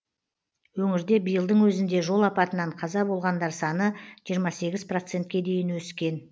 өңірде биылдың өзінде жол апатынан қаза болғандар саны жиырма сегіз процентке дейін өскен